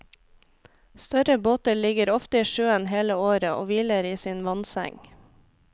Større båter ligger ofte i sjøen hele året og hviler i sin vannseng.